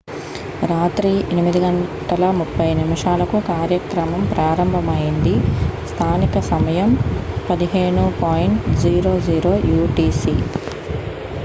రాత్రి 8:30 గంటలకు కార్యక్రమం ప్రారంభమైంది స్థానిక సమయం 15.00 యూటిసి